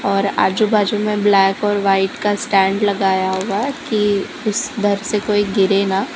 और आजू बाजू में ब्लैक और वाइट का स्टैंड लगाया हुआ है कि उस उधर से कोई गिरे ना।